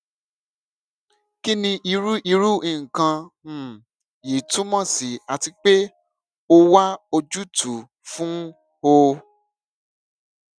kini iru iru nkan um yii tumọ si ati pe o wa ojutu fun o